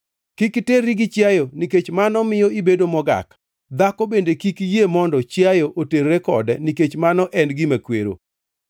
“ ‘Kik iterri gi chiayo nikech mano miyo ibedo mogak. Dhako bende kik yie mondo chiayo oterre kode, nikech mano en gima kwero.